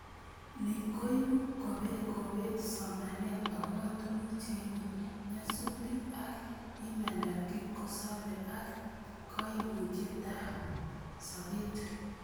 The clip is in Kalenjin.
Ni koibu kobet somanet agobo tuguk cheibu nyasutik ak imandap kipkosobei ak komoutietab sobet